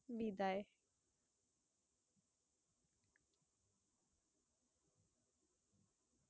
বিদায়।